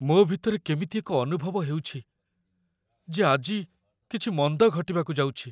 ମୋ ଭିତରେ କେମିତି ଏକ ଅନୁଭବ ହେଉଛି, ଯେ ଆଜି କିଛି ମନ୍ଦ ଘଟିବାକୁ ଯାଉଛି।